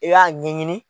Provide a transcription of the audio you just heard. I b'a ɲɛɲini